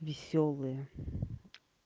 весёлые